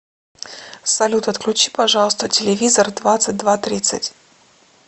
салют отключи пожалуйста телевизор в двадцать два тридцать